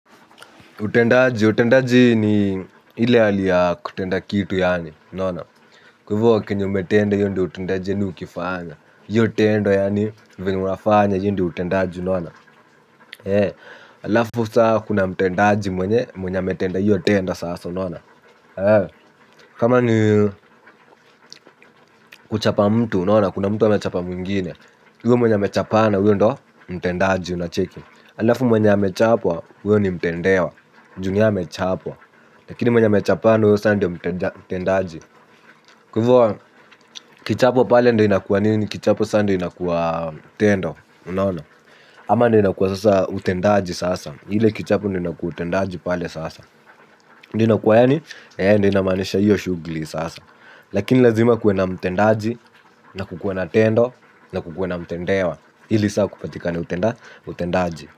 Utendaji, utendaji ni ile hali kutenda kitu yaani, unaona. Kwa hivo kenye umetenda hio ndioi utendaji yanini ukifanya hio tendo yaani, venye unafanya hio ndiodi utendaji, unaona eeh. Alafu saa kuna mtendaji mwenye, mwenye ametenda hiyo tendo sasa, unaona kama ni kuchapa mtu unaona kuna mtu amechapa mwingine huyu mwenye amechapana huyo ndio mtendaji unacheki alafu mwenye amechapwa huyo ni mtendewa juu ni yeye amechapwa lakini sa mwenye amechapana huyo sa ndio mtendaji. Kwa hivo kichapo pale ndio inakua nini kichapo saa ndio inakua tendo. Ama ndio inakua sasa utendaji sasa ile kichapo ndio inakua utendaji pale sasa. Ndio inakuwa yaani ina maanisha inamanisha hiyo shughuli sasa. Lakini lazima kuwe na mtendaji na kukuwe na tendo na kukuwe na mtendewa ili saa kupatika ni utendaji.